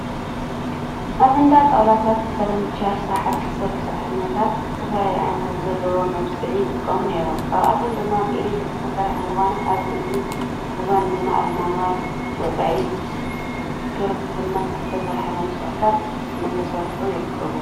ኣብ እንዳ ጣውላታት (ፈርኒቸር) ስራሕቲ ዝሰርሑ ሰራሕተኛታት ዝተፈላለዩ ዓይነታት ዘለዎም መብስዒ ይጥቀሙ ነይሮም። ካብኣቶም ድማ ብኤሌትሪክ ዝሰርሑ እንትኾኑ ኣብዚ ሕዚ እዋን ድማ ኣብ ማንዋል ወፃኢ ብሮቦርት ዝሰርሑ መብስዕታት እናተሰርሑ ይርከቡ።